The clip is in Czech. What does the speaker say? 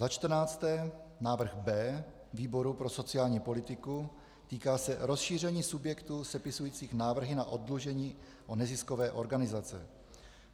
Za čtrnácté návrh B výboru pro sociální politiku, týká se rozšíření subjektů sepisujících návrhy na oddlužení o neziskové organizace.